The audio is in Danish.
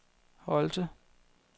Holte